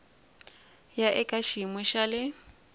ya eka xiyimo xa le